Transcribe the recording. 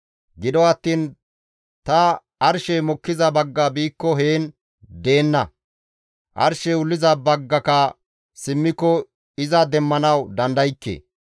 «Gido attiin ta arshey mokkiza bagga biikko heen izi deenna; arshey wulliza baggaka simmiko iza demmanawu dandaykke.